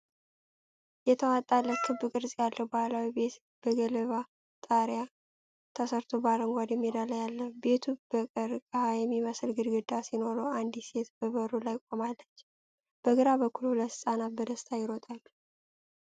የተዋጣለት ክብ ቅርጽ ያለው ባህላዊ ቤት በገለባ ጣሪያ ተሠርቶ በአረንጓዴ ሜዳ ላይ አለ። ቤቱ በቀርቀሃ የሚመስል ግድግዳ ሲኖረው አንዲት ሴት በበሩ ላይ ቆማለች፤ በግራ በኩል ሁለት ህፃናት በደስታ ይሮጣሉ።